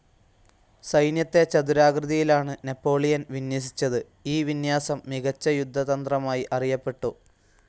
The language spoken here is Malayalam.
സൈന്യത്തെ ചതുരാകൃതിയിലാണ് നാപ്പോളിയൻ വിന്യസിച്ചത്, ഈ വിന്യാസം മികച്ച യുദ്ധതന്ത്രമായി അറിയപ്പെട്ടു.